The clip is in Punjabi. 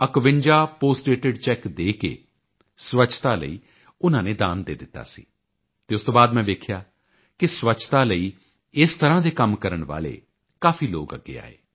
51 ਪੋਸਟਡੇਟਿਡ ਚੇਕ ਦੇ ਕੇ ਸਵੱਛਤਾ ਲਈ ਉਨ੍ਹਾਂ ਨੇ ਦਾਨ ਦੇ ਦਿੱਤਾ ਸੀ ਅਤੇ ਉਸ ਤੋਂ ਬਾਅਦ ਮੈਂ ਵੇਖਿਆ ਕਿ ਸਵੱਛਤਾ ਲਈ ਇਸ ਤਰਾਂ ਦੇ ਕੰਮ ਕਰਨ ਵਾਲੇ ਕਾਫੀ ਲੋਕ ਅੱਗੇ ਆਏ